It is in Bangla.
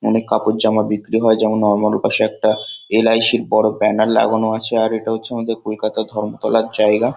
অনেক কাপড়-জামা বিক্রি হয়। যেমন- নরমাল ওপাশে একটা এল .আই .সি -র একটা বড়ো ব্যানার লাগানো আছে। আর এটা হচ্ছে আমাদের কলকাতা ধর্মতলার জায়গা।